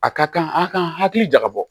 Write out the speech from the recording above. A ka kan a ka kan hakili jagabɔ